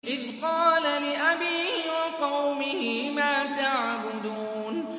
إِذْ قَالَ لِأَبِيهِ وَقَوْمِهِ مَا تَعْبُدُونَ